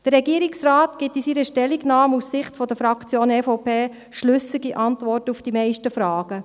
Der Regierungsrat gibt in seiner Stellungnahme aus Sicht der Fraktion EVP schlüssige Antworten auf die meisten Fragen.